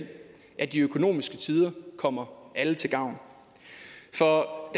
at de økonomiske tider kommer alle til gavn for